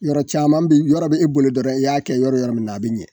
Yɔrɔ caman be yɔrɔ be e boli dɔrɔn i y'a kɛ yɔrɔ yɔrɔ min na a be ɲɛ.